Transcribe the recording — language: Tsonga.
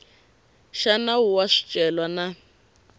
xa nawu wa swicelwa na